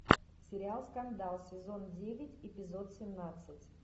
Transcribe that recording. сериал скандал сезон девять эпизод семнадцать